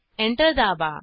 enter दाबा